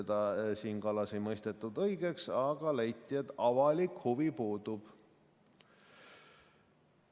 Siim Kallast ei mõistetud õigeks, aga leiti, et avalik huvi puudub.